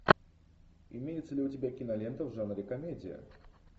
имеется ли у тебя кинолента в жанре комедия